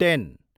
ten